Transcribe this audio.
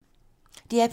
DR P2